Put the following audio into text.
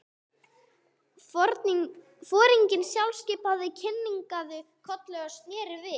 Foringinn sjálfskipaði kinkaði kolli og sneri við.